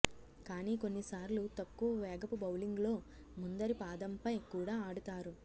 కాని కొన్ని సార్లు తక్కువ వేగపు బౌలింగులో ముందరి పాదంపై కూడా ఆడుతారు